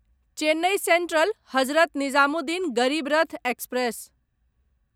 Chennai Central Hazrat Nizamuddin Garib Rath express